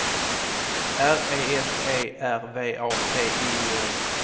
R E S E R V A T I O N